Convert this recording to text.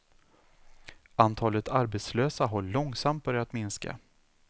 Antalet arbetslösa har långsamt börjat minska.